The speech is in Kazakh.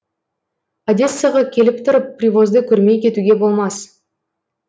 одессаға келіп тұрып привозды көрмей кетуге болмас